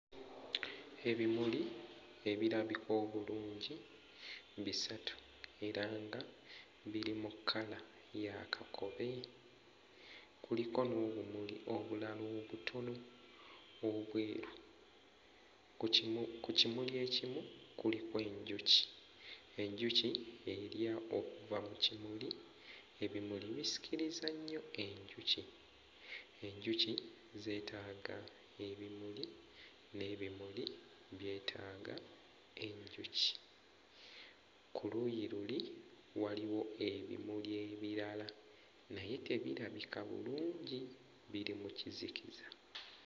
Ebimuli ebirabika obulungi bisatu era nga biri mu kkala ya kakobe, kuliko n'obumuli obulala obutono obweru. Ku kimu... ku kimuli ekimu kuliko enjuki, enjuki erya okuva mu kimuli, ebimuli bisikiriza nnyo enjuki. Enjuki zeetaaga ebimuli n'ebimuli byetaaga enjuki. Ku luuyi luli waliwo ebimuli ebirala naye tebirabika bulungi, biri mu kizikiza.